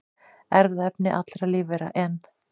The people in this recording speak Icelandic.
Erfðaefni allra lífvera, en